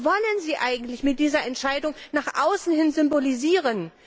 Was wollen Sie eigentlich mit dieser Entscheidung nach außen hin symbolisieren?